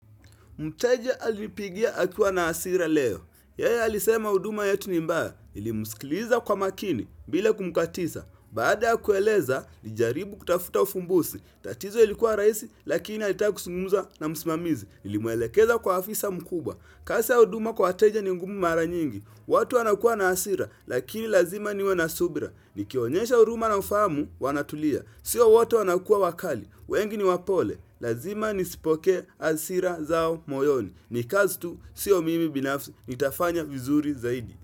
Mteja alinipigia akiwa na hasira leo. Yeye alisema huduma yetu ni mbaya. Nilimsikiliza kwa makini bila kumkatiza. Baada ya kueleza, nilijaribu kutafuta ufumbuzi. Tatizo ilikuwa rahisi, lakini alita kuzungumuza na msimamizi. Nilimwelekeza kwa afisa mkubwa. Kazi ya huduma kwa wateja ni ngumu mara nyingi. Watu wanakuwa na hasira, lakini lazima niwe na subira. Nikionyesha huruma na ufahamu, wanatulia. Sio wote wanakuwa wakali. Wengi ni wapole. Lazima nisipokee hasira zao moyoni ni kazi tu sio mimi binafsi nitafanya vizuri zaidi.